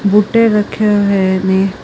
ਬੂਟੇ ਰੱਖੇ ਹੋਏ ਨੇ।